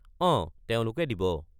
অঁ তেওঁলোকে দিব।